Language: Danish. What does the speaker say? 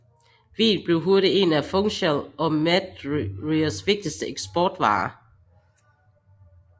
Vin blev hurtigt en af Funchal og Madeiras vigtigste eksportvarer